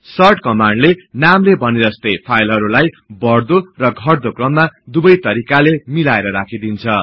short कमान्डले नामले भने जस्तै फाईलहरु लाई बढ्दो र घट्दो क्रममा दुबै तरिकाले मिलाएर राखिदिन्छ